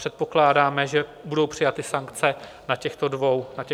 Předpokládáme, že budou přijaty sankce na těchto dvou jednáních.